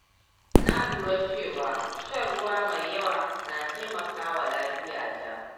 Na lura cewa shan ruwa mai yawa na taimaka wa lafiyata.